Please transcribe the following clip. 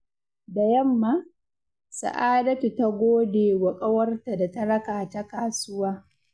Da yamma, Sa'adatu ta gode wa ƙawarta da ta raka ta kasuwa.